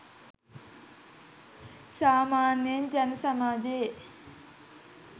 සාමාන්‍යයෙන් ජන සමාජයේ